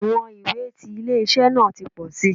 Iwọn iwe ti ile-iṣẹ naa ti pọ si